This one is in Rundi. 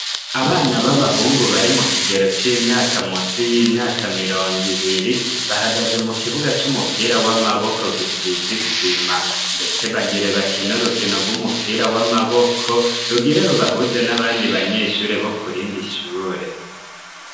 Abana b'abahungu bari mu kigero c'imyaka munsi y'imyaka mirongo ibiri bahagaze mu kibuga c'umupira w'amaboko gisize isima. Ndetse bagire bakine rukino rw'umupira w'amaboko rugire rubahuze n'abandi banyeshure bo ku rindi shure.